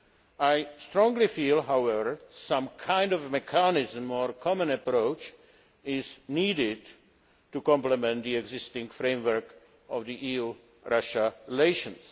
I strongly feel, however, that some kind of mechanism or common approach is needed to complement the existing framework of EU Russia relations.